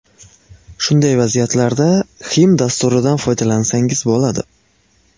Shunday vaziyatlarda Xim dasturidan foydalansangiz bo‘ladi.